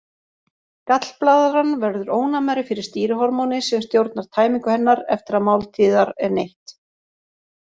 Gallblaðran verður ónæmari fyrir stýrihormóni sem stjórnar tæmingu hennar eftir að máltíðar er neytt.